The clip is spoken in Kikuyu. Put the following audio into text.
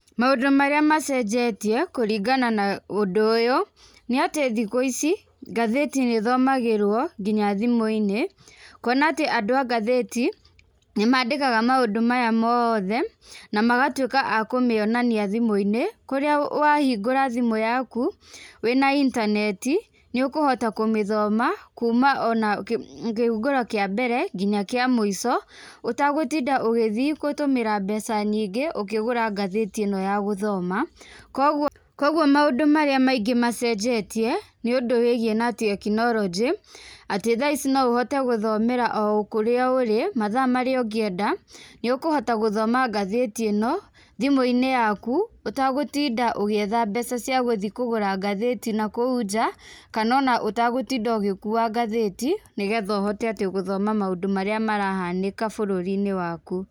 Maũndũ marĩa macenjetie kũringana na ũndũ ũyũ nĩ atĩ thikũ ici ngathĩti nĩ ĩthomagĩrwo nginya thimũ-inĩ, kwona atĩ andũ a ngathĩti nĩmandĩkaga maũndũ maya mothe na magatuĩka a kumĩonania thimũ-inĩ kũrĩa wahingũra thimũ yaku wĩna internet nĩũkuhota kũmĩthoma kuuma ona kĩhunguro kĩa mbere nginya kĩa mũico ũtagũtinda ũgĩthiĩ gũtũmĩra mbeca nyingĩ ũkĩgura ngathĩti ĩno ya gũthoma. Kogwo, kogwo maũndũ marĩa maingĩ macenjetie nĩũndũ wĩigiĩ na technology, atĩ thaa ici no ũhote gũthomera okũrĩa ũrĩ, mathaa marĩa ũngĩenda, nĩũkũhota gũthoma ngathĩti ĩno thimũ-inĩ yaku ũtagũtinda ũgĩetha mbeca cia gũthiĩ kũgũra ngathĩti nakũu nja kana ona ũtagũtinda ũgĩkua ngathĩti nĩgetha ũhote ati gũthoma maũndũ marĩa marahanĩka bũrũri-inĩ waku.